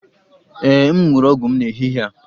Ee m ṅụrụ ọgwụ m n'ehihie a